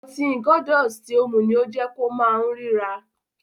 Ọtí Gordon's ti o mu ni ó jẹ kó ma únrìrà.